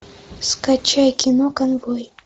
скачай кино конвой